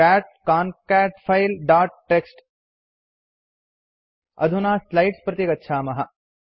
cat concat file dot TXT अधुना slides प्रति गच्छामः